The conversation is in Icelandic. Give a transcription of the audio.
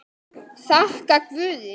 Þakka guði.